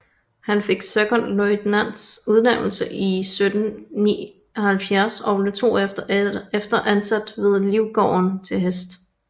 Han fik sekondløjtnants udnævnelse 1779 og blev 2 år efter ansat ved Livgarden til Hest